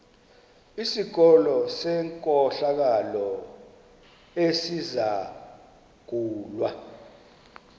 sikolo senkohlakalo esizangulwa